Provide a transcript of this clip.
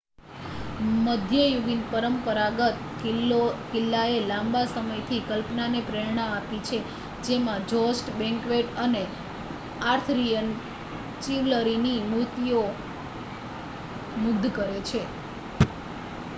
મધ્યયુગીન પરંપરાગત કિલ્લાએ લાંબા સમયથી કલ્પનાને પ્રેરણા આપી છે જેમાં જોસ્ટ બેન્ક્વેટ અને આર્થરિયન ચિવલરીની મૂર્તિઓ મુગ્ધ કરે છે